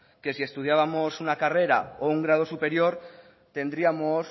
que si estudiábamos una carrera o un grado superior tendríamos